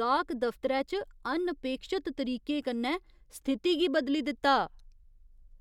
गाह्क दफतरै च अनअपेक्षत तरीके कन्नै स्थिति गी बदली दित्ता।